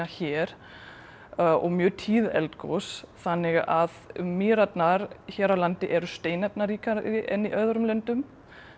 hér og mjög tíð eldgos þannig að Mýrarnar hér á landi eru steinefnaríkari en í öðrum löndum